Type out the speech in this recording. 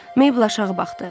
Maybl aşağı baxdı.